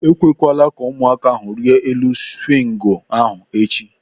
Ekwekwala ụmụaka ahụ rịa elu swingu ahụ echi.!